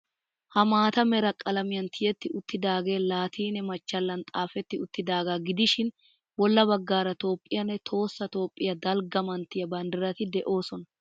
Ha maata mera qalamiyan tiyetti uttidaagee laatiine machchallan xaafetti uttidaagaa gidishin bolla baggaara Toophphiyanne tohossa Toophphiya dalgga manttiya banddirati de'oosona.